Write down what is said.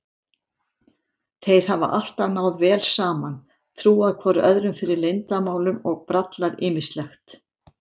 Þeir hafa alltaf náð vel saman, trúað hvor öðrum fyrir leyndarmálum og brallað ýmislegt.